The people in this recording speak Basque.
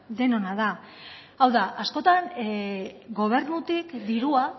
denona da hau da askotan gobernutik dirua